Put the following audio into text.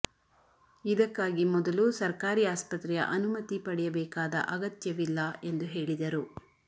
ಇದಕ್ಕಾಗಿ ಮೊದಲು ಸರ್ಕಾರಿ ಆಸ್ಪತ್ರೆಯ ಅನುಮತಿ ಪಡೆಯಬೇಕಾದ ಅಗತ್ಯವಿಲ್ಲ ಎಂದು ಹೇಳಿದರು